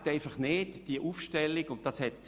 Vergessen Sie die Aufstellung nicht.